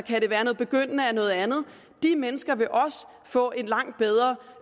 noget andet de mennesker vil også få et langt